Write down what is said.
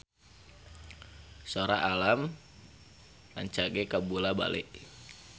Sora Alam rancage kabula-bale